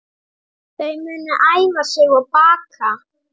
Þau munu æfa sig og baka